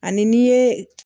Ani n'i ye